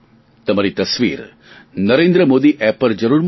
તમારી તસવીર નરેન્દ્ર મોદી એપ પર જરૂર મોકલો